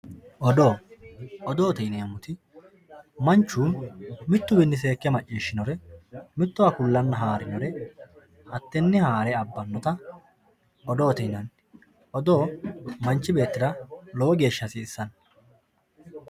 Odoo, odoote yineemoti manchu mituwinni seeke macciishinore mitowa kulana haarinore hate'ne haarr abinotta odoote yinanni, odoo manchi beettira lowo geesha hasisanno